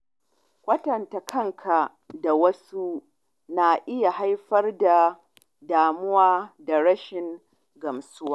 Kwatanta kanka da wasu na iya haifar da damuwa da rashin gamsuwa.